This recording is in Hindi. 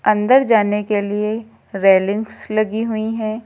अंदर जाने के लिए रेलिंग्स लगी हुई हैं।